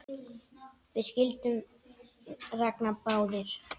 Það skildum við Ragnar báðir!